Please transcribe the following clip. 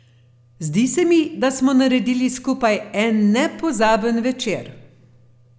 Zdi se mi, da smo naredili skupaj en nepozaben večer.